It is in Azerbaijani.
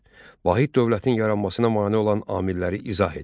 Üç: Vahid dövlətin yaranmasına mane olan amilləri izah et.